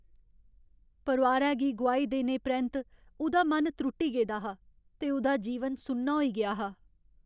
परोआरै गी गोआई देने परैंत्त उ'दा मन त्रुट्टी गेदा हा ते उ'दा जीवन सुन्ना होई गेआ हा।